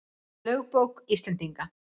Lögbók Íslendinga.